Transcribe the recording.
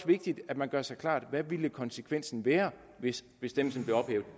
vigtigt at man gør sig klart hvad ville konsekvensen være hvis bestemmelsen blev ophævet